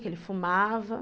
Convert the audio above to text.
Que ele fumava.